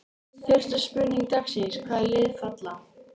Fyrsta spurning dagsins: Hvaða lið falla?